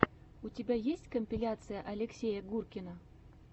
у тебя есть компиляция алексея гуркина